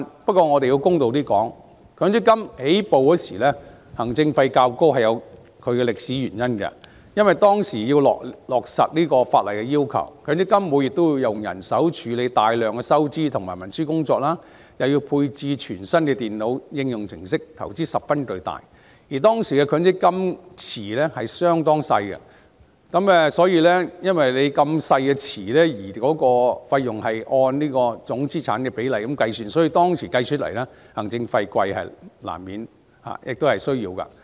不過，我們要公道點，強積金推出初期行政費較高是有其歷史原因，因為當時要落實法例的要求，強積金每月會以人手處理大量的收支和文書工作，又要配置全新的電腦應用程式，投資十分龐大，而當時強積金資金池的規模相當小，資金池小而費用按總資產的比例計算，故此當時行政費高昂是在所難免，亦有其需要。